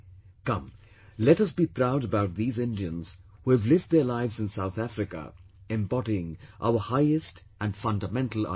Come, let us be proud about these Indians who have lived their lives in South Africa embodying our highest and fundamental ideals